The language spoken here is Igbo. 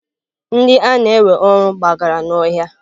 Ndị a na-ewe ọrụ gbagara n'ọhịa.